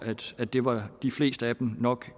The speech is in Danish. at det var de fleste af dem nok